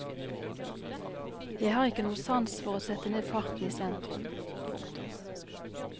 Jeg har ikke noe sans for å sette ned farten i sentrum. punktum